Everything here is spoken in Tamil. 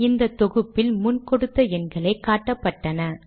முதல் தொகுப்பில் முன் கொடுத்த எண்களே காட்டப்பட்டன